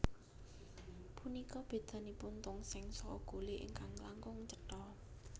Punika bedanipun tongseng saha gule ingkang langkung cetha